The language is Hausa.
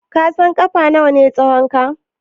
Ka san ƙafa nawa ne tsahonka?